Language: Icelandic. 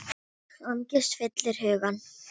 Angist fyllir hugann.